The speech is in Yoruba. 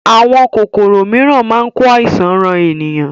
Àwọn kòkòrò mìíràn máa ń ko àìsàn ran ènìyàn